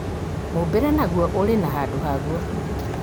mũũmbĩre naguo ũrĩ na handũ haguo